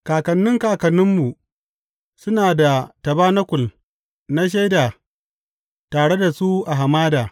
Kakanni kakanninmu suna da tabanakul na Shaida tare da su a hamada.